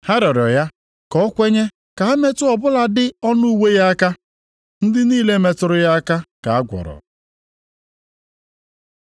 Ha rịọrọ ya ka o kwenye ka ha metụ ọ bụladị ọnụ uwe ya aka. Ndị niile metụrụ ya aka ka a gwọrọ.